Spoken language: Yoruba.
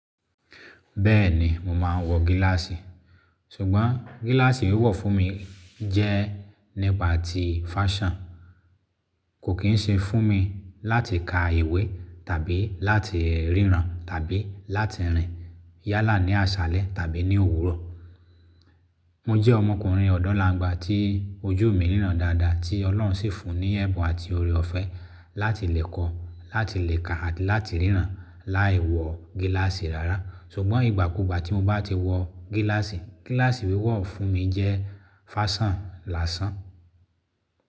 Bẹ́ẹ̀ni mo máa ń wọ gíláàsì, ṣùgbọ́n gíláàsì wíwọ̀ fún mi jẹ́ nípa ti fáṣhion. Kò kín ṣe fún mi láti ka ìwé tàbí láti ríran tàbí láti rìn yálà ní àṣálẹ́ tàbí ní òwúrọ̀. Mo jẹ́ ọmọkùnrin ọ̀dọ́ làngbà tí ojú mi ríran dáadáa tí Ọlọ́run sì fún ní ẹ̀bùn àti oore ọ̀fẹ́ láti lè kọ, láti lè ka àti láti ríran láì wọ gíláàsì rárá. Ṣùgbọ́n ìgbà kúgbà tí mo bá ti wọ gíláàsì, gíláàsì wíwọ̀ fún mi jẹ́ fáṣàn lásán.